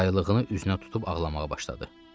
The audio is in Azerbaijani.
Yaylığını üzünə tutub ağlamağa başladı.